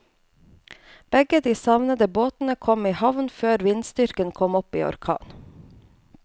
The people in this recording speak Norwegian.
Begge de savnede båtene kom i havn før vindstyrken kom opp i orkan.